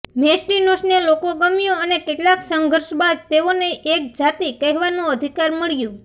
મેસ્ટિનોસને લોકો ગમ્યું અને કેટલાક સંઘર્ષ બાદ તેઓને એક જાતિ કહેવાનું અધિકાર મળ્યું